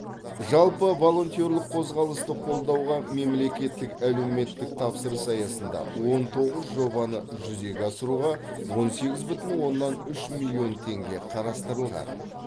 жалпы волонтерлік қозғалысты қолдауға мемлекеттік әлеуметтік тапсырыс аясында он тоғыз жобаны жүзеге асыруға он сегіз бүтін оннан үш миллион теңге қарастырылған